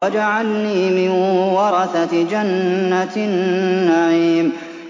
وَاجْعَلْنِي مِن وَرَثَةِ جَنَّةِ النَّعِيمِ